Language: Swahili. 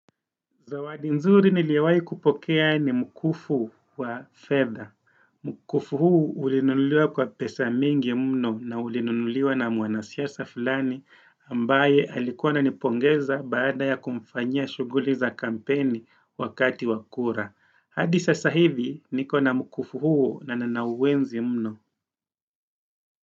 Zawadi nzuri niliowai kupokea ni mkufu, wa fedha. Mukufu huu urinunuliwa kwa pesa mingi mno na ulinunuliwa na mwanasiasa fulani, ambaye alikuwa ananipongeza baada ya kumfanyia shughuli za kampeni, wakati wa kura. Hadi sasa hivi, niko na mkufu huu na nanauenzi mno.